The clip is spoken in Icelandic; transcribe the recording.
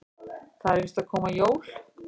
Það eru víst að koma jól.